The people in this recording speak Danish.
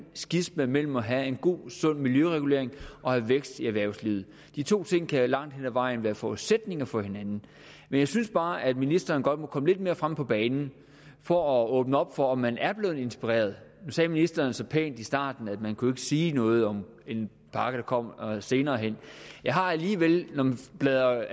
skisma mellem at have en god sund miljøregulering og have vækst i erhvervslivet de to ting kan langt hen ad vejen være forudsætninger for hinanden men jeg synes bare at ministeren godt må komme lidt mere frem på banen for at åbne op for om man er blevet inspireret nu sagde ministeren så pænt i starten at man ikke kunne sige noget om en pakke der kommer senere hen jeg har alligevel da jeg